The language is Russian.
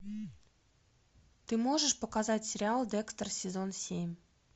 ты можешь показать сериал декстер сезон семь